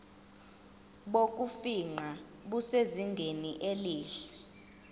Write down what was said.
bokufingqa busezingeni elihle